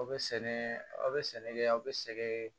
Aw bɛ sɛnɛ aw bɛ sɛnɛ kɛ aw bɛ sɛgɛn